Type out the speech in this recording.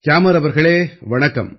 கியாமர் அவர்களே வணக்கம்